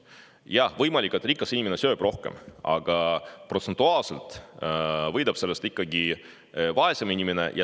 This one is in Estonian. Jah, võimalik, et rikas inimene sööb rohkem, aga protsentuaalselt võidab sellest ikkagi vaesem inimene.